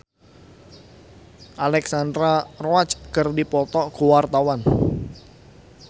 Paramitha Rusady jeung Alexandra Roach keur dipoto ku wartawan